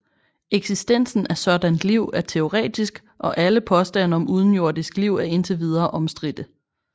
Eksistensen af sådant liv er teoretisk og alle påstande om udenjordisk liv er indtil videre omstridte